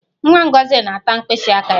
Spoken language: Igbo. Nwa Ngozi na-ata mkpịsị aka ya